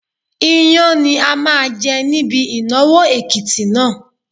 Iyán ni a máa jẹ níbi ìnáwó Èkìtì náà.